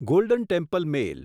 golden temple mail